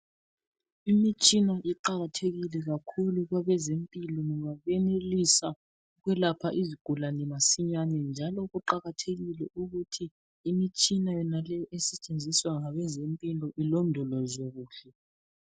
Imitshina iqakathekile kakhulu kwabezempilo ngoba iyenelisa ukwelapha izigulane masinyane, njalo kuqakathekile ukuthi imitshina yonale esetshenziswa ngabezempilo. Ilondolozwe kuhle.